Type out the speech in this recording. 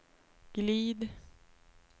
glid